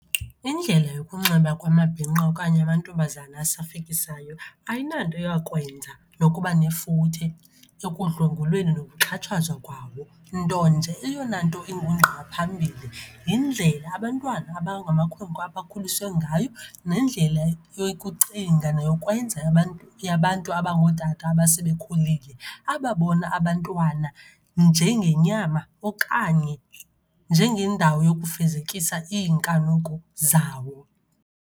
Indlela yokunxiba kumabhinqa okanye amantombazana asafikisayo ayinanto yakwenza nokuba nefuthe ekudlwengulweni nokuxhatshazwa kwawo. Nto nje eyonanto engungqa phambili yindlela abantwana abangamakhwenkwe abakhuliswe ngayo, nendlela yokucinga neyokwenza yabantu abangootata abasebekhulile ababona abantwana njengenyama okanye njengendawo yokufezekisa iinkanuko zawo.